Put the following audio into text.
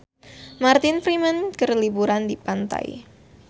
Martin Freeman keur liburan di pantai